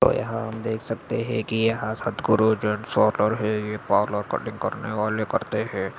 और यहा हम देख सकते है की यह सद्गुरु जेन्टस पार्लर है ये पार्लर कटिंग करने वाले करते है।